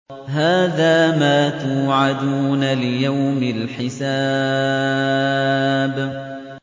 هَٰذَا مَا تُوعَدُونَ لِيَوْمِ الْحِسَابِ